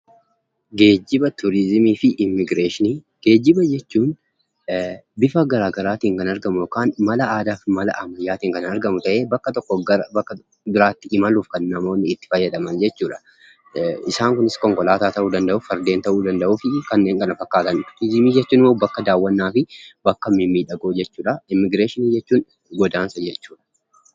Geejjiba, Turiizimii fi Immigireeshinii Geejjiba jechuun bifa garaagaraatiin kan argamu yookaan mala aadaa fi mala ammayyaatiin kan argamu ta'ee, bakka tokkoo gara bakka biraatti imaluuf kan namoonni itti fayyadaman jechuu dha. Isaan kunis konkolaataa ta'uu danda'u, fardeen ta'uu danda'u fi kanneen kana fakkaatan. Turizimii jechuun immoo bakka daawwannaa fi bakka mimmiidhagoo jechuu dha. Immigireeshinii jechuun godaansa jechuu dha.